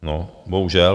No, bohužel.